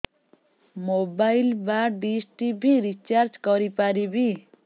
mobile ବା dish TV recharge କରି ପାରିବି